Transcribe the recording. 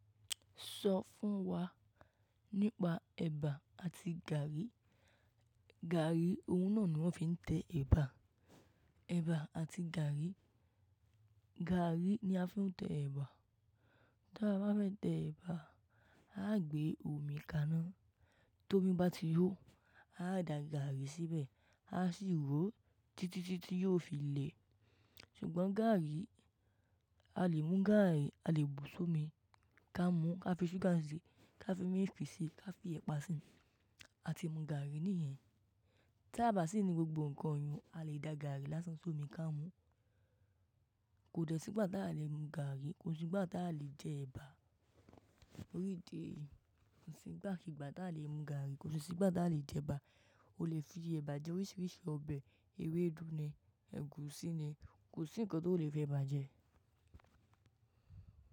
Sọ fún wa nípa ẹba àti gàrí. Gàrí, oun náà ni wọ́n fi ń tẹ ẹba. Ẹba àti gàrí. Gàrí ni a fi ń tẹ ẹba. Tí a bá fẹ́ tẹ ẹba, a ó gbé omi kaná, tó bí bá ti hó, a ó da gàrí síbẹ̀, a sì ró títí títí yóò fi le. Ṣùgbọ́n gàrí, a lè mú gàrí, a lè bù sómi, ká mú, ká fi ṣúgà sí i, ká fi milk pì sí i, ká fi ẹ̀pà sí i, àti mú gàrí níyẹn. Tí a bá sì ní gbogbo ǹkan yìí, a lè da gàrí lásán sómi ká mú. Kò dẹ́ sígbà tá lè mú gàrí, kò sì sígbà tá lè jẹ ẹba. Torí idi èyí, kò sí nígbà kígbà tá lè mú gàrí, kò sì sigbà tá lè jẹ ẹba. O lè fi ẹ̀bà jẹ oríṣiríṣi ọbẹ̀, ewédú ni, ẹ̀gúsí ni, kò sí ǹkan tó lè fi ẹ̀bà jẹ.